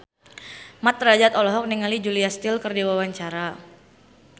Mat Drajat olohok ningali Julia Stiles keur diwawancara